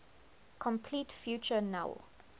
complete future null